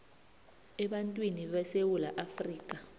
ebantwini besewula afrika